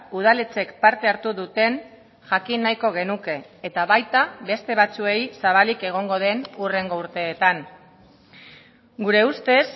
udaletxek parte hartu duten jakin nahiko genuke eta baita beste batzuei zabalik egongo den hurrengo urteetan gure ustez